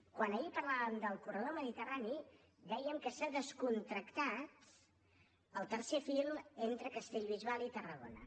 quan ahir parlàvem del corredor mediterrani dèiem que s’ha descontractat el tercer fil entre castellbisbal i tarragona